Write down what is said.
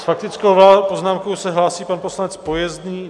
S faktickou poznámkou se hlásí pan poslanec Pojezný.